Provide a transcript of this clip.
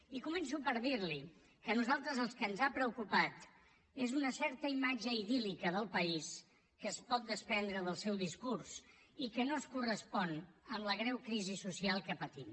i començo per dir li que a nosaltres el que ens ha preocupat és una certa imatge idíllica del país que es pot desprendre del seu discurs i que no es correspon amb la greu crisi social que patim